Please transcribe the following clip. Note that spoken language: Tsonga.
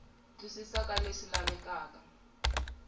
twisisa ka leswi lavekaka eka